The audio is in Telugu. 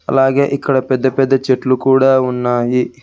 అలాగే ఇక్కడ పెద్ద పెద్ద చెట్లు కూడా ఉన్నాయి.